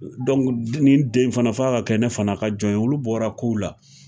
den ni den fana f'a ka kɛ ne fana ka jɔn ye olu bɔra ko la.